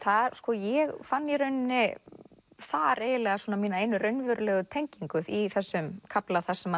ég fann í rauninni þar eiginlega svona mína einu raunverulegu tengingu í þessum kafla þar sem hann